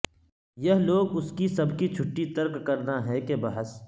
یہ لوگ اس کی سب کی چھٹی ترک کرنا ہے کہ بحث